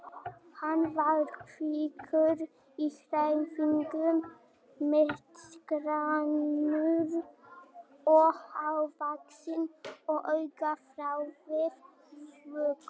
Hann var kvikur í hreyfingum, mittisgrannur og hávaxinn og augnaráðið vökult.